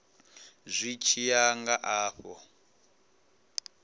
zwi tshi ya nga afho